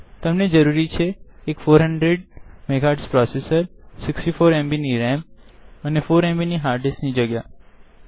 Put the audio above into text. તમને જરૂરી છે એક 400 MHz processor 64 MB of RAM અને 4 એમબી ઓએફ hard ડિસ્ક નિ જગ્યા